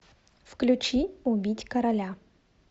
включи убить короля